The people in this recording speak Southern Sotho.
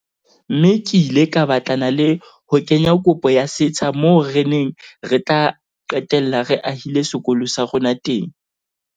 Mme ke ile ka batlana le ho kenya kopo ya setsha moo re neng re tla qetella re ahile sekolo sa rona teng.